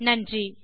நன்றி